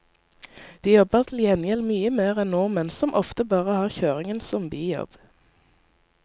De jobber til gjengjeld mye mer enn nordmenn, som ofte bare har kjøringen som bijobb.